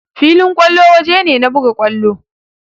Filin kwallo waje ne na buga kwallo.